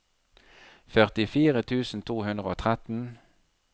førtifire tusen to hundre og tretten